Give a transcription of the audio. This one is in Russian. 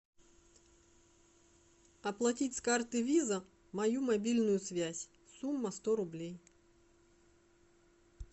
оплатить с карты виза мою мобильную связь сумма сто рублей